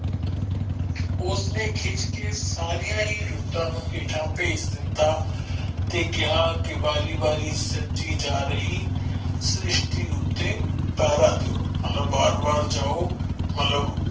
ਉਸਨੇ ਖਿੱਝ ਕੇ ਸਾਰੀਆਂ ਹੀ ਰੁੱਤਾਂ ਨੂੰ ਹੇਠਾਂ ਭੇਜ ਦਿੱਤਾ ਤੇ ਕਹਿਆ ਕੀ ਵਾਰੀ ਵਾਰੀ ਸੱਜਦੀ ਜਾ ਰਹੀ ਸ਼੍ਰਿਸਟੀ ਉੱਤੇ ਤਾਰਾ ਦੋ ਮਤਲਬ ਬਾਰ ਬਾਰ ਜਾਓ ਮਤਲਬ।